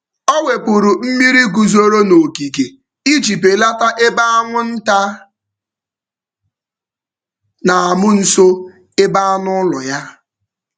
Ọ wepụrụ mmiri guzoro um n’ogige um iji belata ebe anwụnta na-amụ um nso ebe ebe anụ ụlọ ya.